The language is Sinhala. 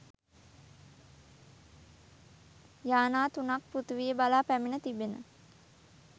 යානා තුනක් පෘථිවිය බලා පැමිණ තිබෙන